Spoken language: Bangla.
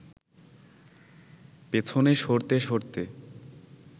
পেছনে সরতে সরতে